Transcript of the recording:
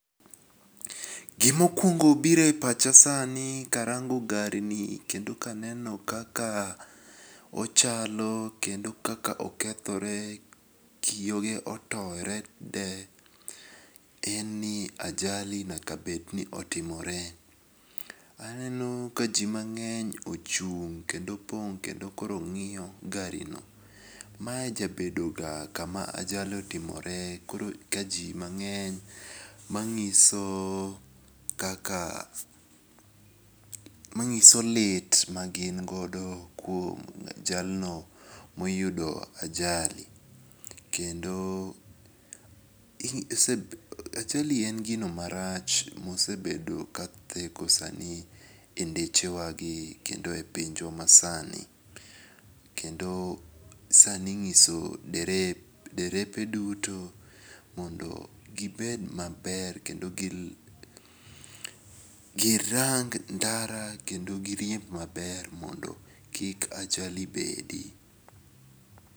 Gimokuongo biro e pacha sani karango gari ni kendo kaka ochalo kendo kaka okethore, kiyoge otore te en ni ajali nyaka bedni otimore. Aneno ka ji mangeny ochung' kendo pong' kendo koro ng'iyo garino, mae jabedo ga kama ajali otimore koro ka ji mangeny manyiso kaka manyiso lit magin godo kuom jalno moyudo ajali, kendo ajali en gino marach mosebedo katheko sanie e ndechewagi kendo e pinjwa masani, kendo sani inyiso derepe duto mondo gibed maber kendo girang ndara kendo giriemb maber mondo kik ajali bede.